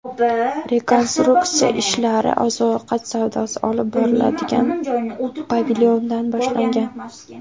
Rekonstruksiya ishlari oziq-ovqat savdosi olib boriladigan pavilyondan boshlangan.